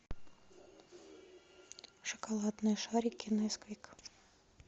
шоколадные шарики несквик